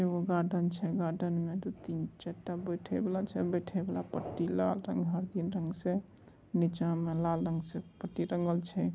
एगो गार्डेन छै । गार्डेन में दू तीन चारटा बैठे बाला छै । बैठे बाला पट्टी लाल रंग हरदील रंग से नीचा में लाल रंग से पट्टी रंगल छै ।